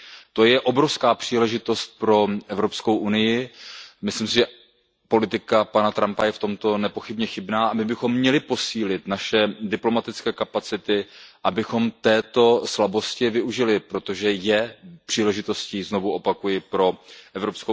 To je obrovská příležitost pro EU, myslím, že politika pana Trumpa je nepochybně chybná, a my bychom měli posílit naše diplomatické kapacity, abychom této slabosti využili, protože je příležitostí, znovu opakuji, pro EU.